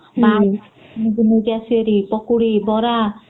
ହୁଁ ....କିଣିକି ନେଇକି ଆସିବେ ଭାରି ପକୁଡି ବରା